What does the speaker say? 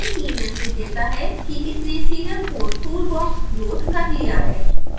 आप देख सकते हैं कि यह मैसेज देता है कि इसने serial port toolbox लोड कर दिया है